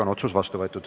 Otsus on vastu võetud.